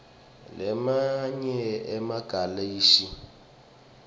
lamanye emagalashi aphethilomu